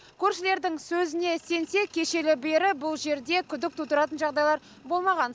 көршілердің сөзіне сенсек кешелі бері бұл жерде күдік тудыратын жағдайлар болмаған